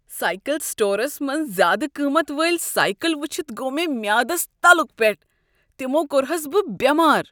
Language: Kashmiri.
سایکل سٹورس منٛز زیٛادٕ قۭمتھ وٲلۍ سایکل وٕچھتھ گوٚو مےٚ میٛادس تلُک پٮ۪ٹھ۔ تمو کوٚرہس بہٕ بٮ۪مار۔